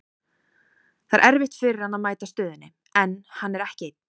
Það er erfitt fyrir hann að mæta stöðunni, en hann er ekki einn.